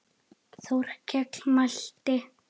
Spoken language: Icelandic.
Þórkell mælti